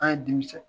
An ye denmisɛn